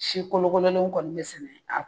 Si kolokololenw kɔni be sɛnɛ a